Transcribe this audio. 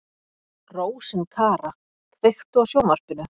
Rósinkara, kveiktu á sjónvarpinu.